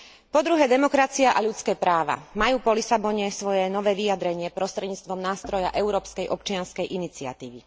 Po druhé, demokracia a ľudské práva majú po Lisabone svoje nové vyjadrenie prostredníctvom nástroja európskej občianskej iniciatívy.